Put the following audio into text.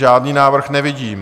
Žádný návrh nevidím.